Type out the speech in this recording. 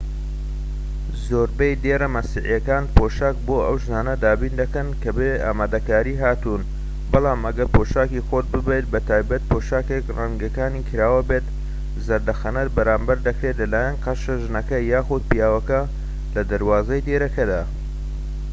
زۆربەی دێرە مەسیحیەکان پۆشاک بۆ ئەو ژنانە دابین دەکەن کە بەبێ ئامادەکاری هاتوون بەڵام ئەگەر پۆشاکی خۆت ببەیت بەتایبەتی پۆشاکێك رەنگەکانی کراوە بێت زەردەخەنەت بەرامبەر دەکرێت لەلایەن قەشە ژنەکە یان پیاوەکەوە لە دەروازەی دێرەکەدا